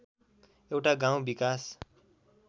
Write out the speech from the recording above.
एउटा गाउँ विकास